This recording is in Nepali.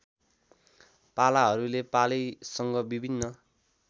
पालाहरूले पालैसँग विभिन्न